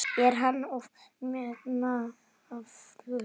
Er hann of metnaðarfullur?